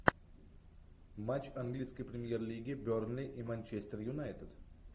матч английской премьер лиги бернли и манчестер юнайтед